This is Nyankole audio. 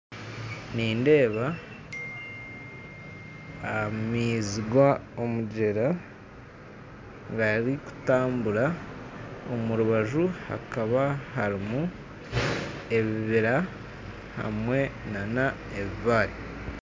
Nindeeba amaizi ga omugyera garikutambura omu rubaju hakaba harimu ebibira hamwe na na ebibare